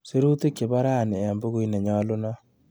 Sirutik chebo rani eng bukuit nenyalunot.